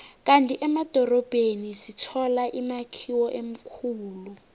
kandi emadorobheni sithola imakhiwo emikhulu